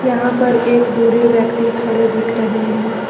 यहां पर एक बूढ़े व्यक्ति खड़े दिख रहे हैं।